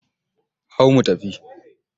Hau mu tafi!